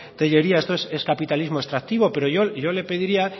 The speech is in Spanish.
tellería esto es capitalismo extractivo pero yo le pediría